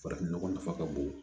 Farafin nɔgɔ nafa ka bon